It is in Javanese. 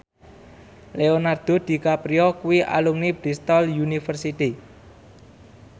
Leonardo DiCaprio kuwi alumni Bristol university